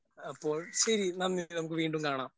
അപ്പോൾ ശെരി നന്ദി നമുക്ക് വീണ്ടും കാണാം.